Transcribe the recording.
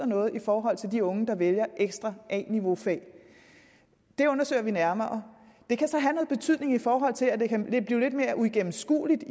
noget i forhold til de unge der vælger ekstra a niveau fag det undersøger vi nærmere det kan så have noget betydning i forhold til at det kan blive lidt mere uigennemskueligt